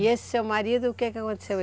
E esse seu marido, o que que aconteceu?